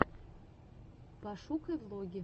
пошукай влоги